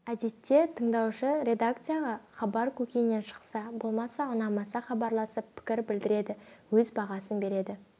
әдетте тыңдаушы редакцияға хабар көкейінен шықса болмаса ұнамаса хабарласып пікір білдіреді өз бағасын береді